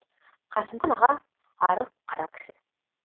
қасымхан аға арық қара кісі